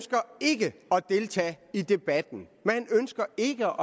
og deltage i debatten man ønsker ikke